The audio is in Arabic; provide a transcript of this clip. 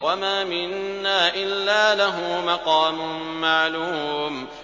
وَمَا مِنَّا إِلَّا لَهُ مَقَامٌ مَّعْلُومٌ